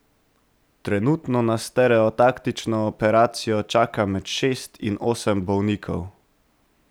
Trenutno na stereotaktično operacijo čaka med šest in osem bolnikov.